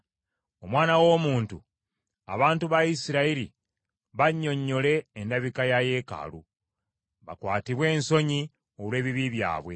“Omwana w’omuntu, abantu ba Isirayiri bannyonnyole endabika ya yeekaalu, bakwatibwe ensonyi olw’ebibi byabwe.